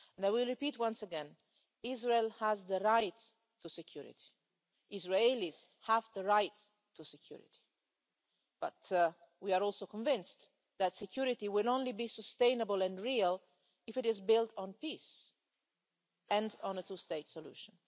And I will repeat once again Israel has the right to security, Israelis have the right to security. But we are also convinced that security will only be sustainable and real if it is built on peace and on a two state solution.